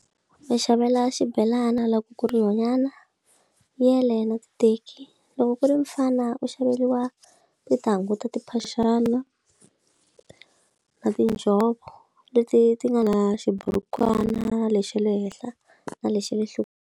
Ku va xavela xibhelana loko ku ri nhwnyana yele na ti teki loko ku ri mufana u xaveriwa ti ta hunguta timphaxani na tinjhovo leti ti nga na xiburukwani na lexi xa le henhla na le xale nhlokweni.